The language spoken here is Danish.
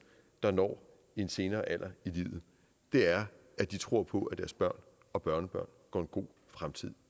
der når en senere alder i livet er at de tror på at deres børn og børnebørn går en god fremtid